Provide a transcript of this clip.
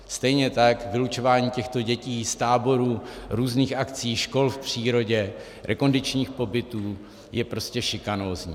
Stejně tak vylučování těchto dětí z táborů, různých akcí, škol v přírodě, rekondičních pobytů je prostě šikanózní.